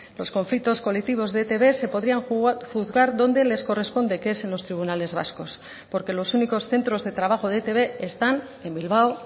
los conflictos colectivos de etb se podrían juzgar donde les corresponde que es en los tribunales vascos porque los únicos centros de trabajo de etb están en bilbao